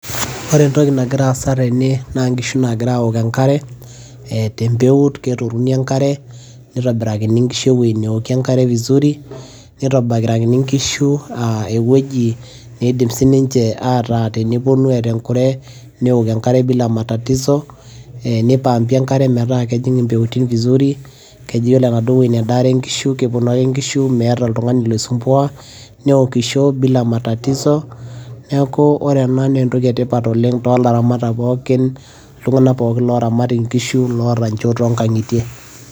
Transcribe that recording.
ore entoki nagira aasa tene naa inkishu nagira aok enkare te mpeut. keturuni enkare, nitobirakini nkishu ewueji neokie enkare vizuri nitobirakini aa ewueji na idim sii ninche tenepuonu eeta enkure, neok enkare bila matatizo nipampi enkare metaa kejing' impeutin vizuri. iyiolo enaduo wueji nedaare nkishu, kepuonu ake nkishu meeta oltungani loisumbua. neokisho bila matatizo neeku ore ena naa entoki etipat oleng toolaramatak pookin loo nkishu, iltunganak pookin oota nchoo toonkang'itie.